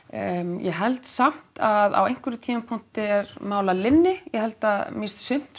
ég held samt að á einhverjum tímapunkti er mál að linni ég held að mér finnst sumt